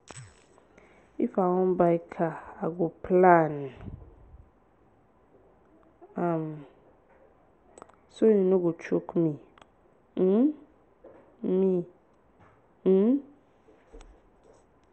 if i wan buy car i go plan am so e no go choke me. um me. um